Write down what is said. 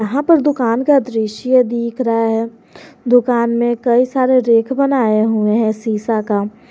यहां पर दुकान का दृश्य दिख रहा है दुकान में कई सारे रेक बनाए हुए हैं शीशा का।